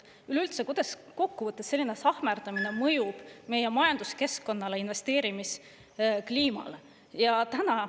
Üleüldse, kuidas kokkuvõttes selline sahmerdamine mõjub meie majanduskeskkonnale ja investeerimiskliimale?